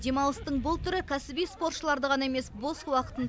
демалыстың бұл түрі кәсіби спортшыларды ғана емес бос уақытын